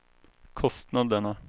kostnaderna